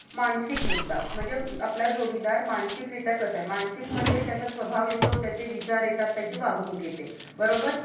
मानसिक मुद्दा, म्हणजे आपला जोडीदार मानसिकरीत्या कसा आहे? मानसिक मध्ये त्याचा स्वभाव येतो? त्याचे विचार येतात? त्याची वागणूक येते बरोबर?